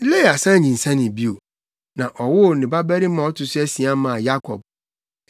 Lea san nyinsɛnee bio, na ɔwoo ne babarima a ɔto so asia maa Yakob.